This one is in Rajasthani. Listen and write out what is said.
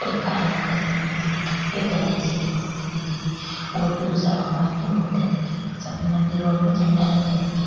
एक काली माता की मूर्ति दिख री एक गणेश जी की मूर्ति दिख री और भी दूसरा भगवन की मूर्तिया दिख री सभी मंदिरो में झंडा लगा दिख रिया।